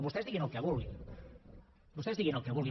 vostès diguin el que vulguin vostès diguin el que vulguin